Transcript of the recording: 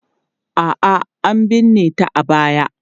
A'a, an binne ta a baya.